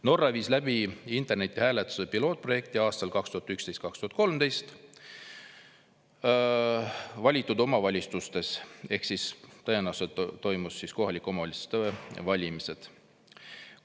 Norra viis läbi internetihääletuse pilootprojekti aastal 2011, kui toimusid kohalike omavalitsuste valimised, samuti aastal 2013,.